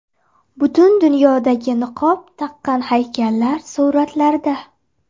Butun dunyodagi niqob taqqan haykallar suratlarda.